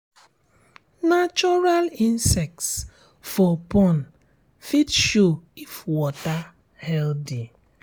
natural insects for pond fit show if water healthy